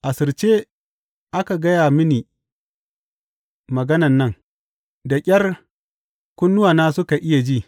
Asirce aka gaya mini maganan nan, da ƙyar kunnuwana suka iya ji.